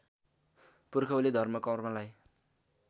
पुर्खौली धर्म कर्मलाई